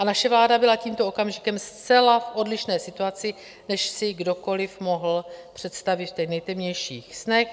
A naše vláda byla tímto okamžikem zcela v odlišné situaci, než si kdokoli mohl představit v těch nejtemnějších snech.